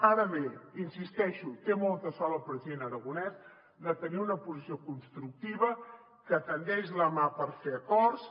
ara bé hi insisteixo té molta sort el president aragonès de tenir una posició constructiva que estén la mà per fer acords